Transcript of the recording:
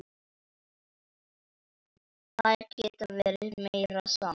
Þær geta verið meira saman.